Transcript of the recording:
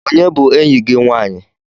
Onye bu eyi gi nwanyị?